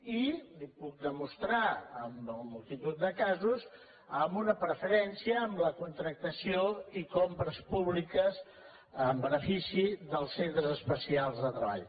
i li ho puc demostrar en multitud de casos amb una preferència per la contractació i compres públiques en benefici dels centres especials de treball